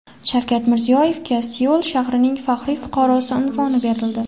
Shavkat Mirziyoyevga Seul shahrining faxriy fuqarosi unvoni berildi.